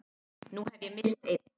Nú hef ég misst einn.